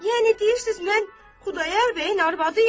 Yəni deyirsiz mən Xudayar bəyin arvadıyam?